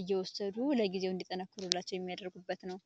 እየወሰዱ ለጊዜው እንድጠነክሩላቸው የሚያደርጉበት ነው።